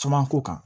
Caman ko kan